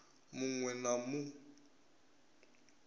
mu ṅ we na mu